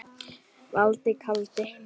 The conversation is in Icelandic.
Valdi kaldi.